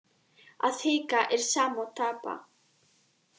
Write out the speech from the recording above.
Að hika er sama og tapa.